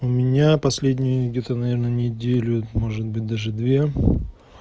у меня последний где-то наверно неделю может быть даже две